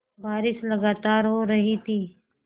बारिश लगातार हो रही थी